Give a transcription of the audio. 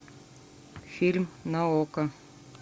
фильм на окко